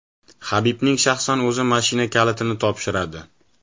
Habibning shaxsan o‘zi mashina kalitini topshiradi.